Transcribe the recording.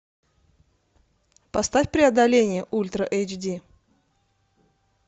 поставь преодоление ультра эйч ди